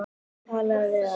Talaðu við hana.